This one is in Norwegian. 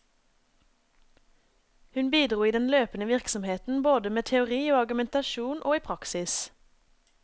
Hun bidro i den løpende virksomheten både med teori og argumentasjon og i praksis.